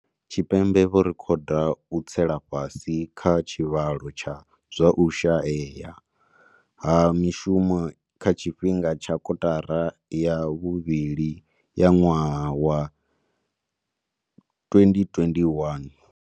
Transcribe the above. Tshipembe vho rekhoda u tsela fhasi kha tshivhalo tsha zwa u shayea ha mishumo kha tshifhinga tsha kotara ya vhuvhili ya ṅwaha wa 2021.